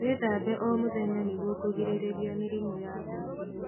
Wĩthambe o mũthenya nĩguo kũgirĩrĩrĩa mĩrimũ ya ngothi